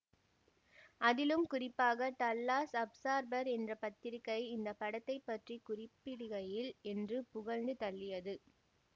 அதிலும் குறிப்பாக Dallas Observer என்ற பத்திரிகை இந்த படத்தை பற்றி குறிப்பிடுகையில் என்று புகழ்ந்து தள்ளியது